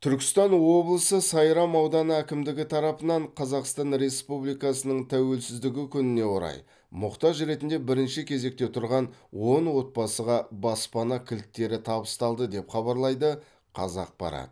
түркістан облысы сайрам ауданы әкімдігі тарапынан қазақстан республикасының тәуелсіздігі күніне орай мұқтаж ретінде бірінші кезекте тұрған он отбасыға баспана кілттері табысталды деп хабарлайды қазақпарат